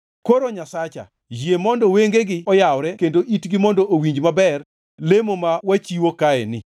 “Koro Nyasacha, yie mondo wengegi oyawre kendo itgi mondo owinj maber lemo ma wachiwo kaeni.